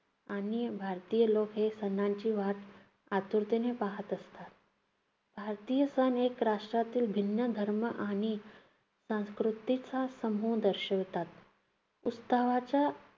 आणि भारतीय लोक हे सणांची वाट आतुरतेने पाहात असतात. भारतीय सण हे राष्ट्रातील भिन्न धर्म आणि संस्कृतीचा समूह दर्शवतात. उत्सवाच्या